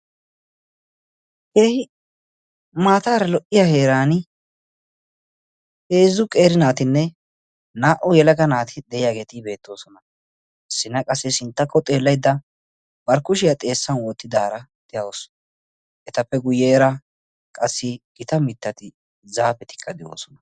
keehi maataara lo''iya heeran heezzu qeeri naatinne naa''u yelaga naati de'iyaageeti beettoosona sinna qassi sinttakko xeellaidda barkkushiyaa xeessan woottidaara de'awusu etappe guyyeera qassi gita mittati zaafetikka de'oosona